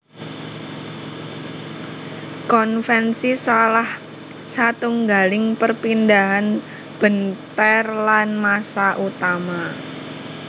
Konvensi salah satunggaling perpindahan benter lan massa utama